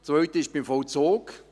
Das Zweite ist beim Vollzug: